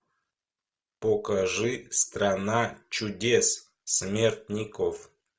покажи страна чудес смертников